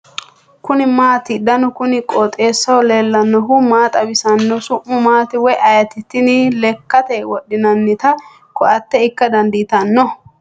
kuni maati ? danu kuni qooxeessaho leellannohu maa xawisanno su'mu maati woy ayeti ? tini lekkate wodhinannita koate ikka dandiitanno ?